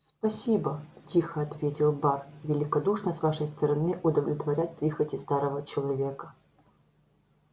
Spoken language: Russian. спасибо тихо ответил бар великодушно с вашей стороны удовлетворять прихоти старого человека